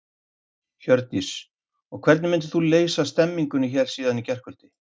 Hjördís: Og hvernig myndir þú lýsa stemmingunni hérna síðan í gærkvöldi?